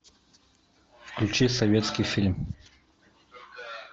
включи советский фильм